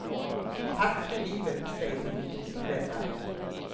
Tack för livet, säger hon till sin räddare.